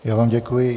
Já vám děkuji.